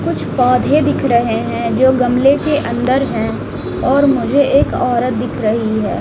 कुछ पौधे दिख रहे हैं जो गमले के अंदर हैं और मुझे एक औरत दिख रही है।